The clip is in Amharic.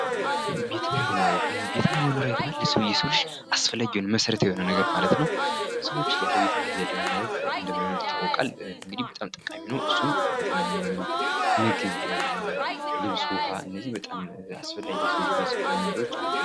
ቤትና መኖሪያ ቤት ማለት ለሰው ልጅ መሰረታዊ ነገር ማለት ነው። የሰው ልጅ ያለ ቤትና ያለመኖሪያ ቤት እንደማይኖር ይታወቃል እሱም ቤትና መኖሪያ ቤት ምግብ ለብስ ውሃ እነዚህ በጣም አስፈላጊ ከሆነ ነገሮች አንዱ ናቸው።